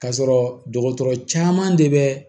Ka sɔrɔ dɔgɔtɔrɔ caman de bɛ